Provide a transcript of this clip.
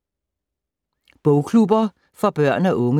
Bogklubber for børn og unge